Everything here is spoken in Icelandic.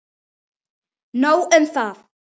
Nóg um það!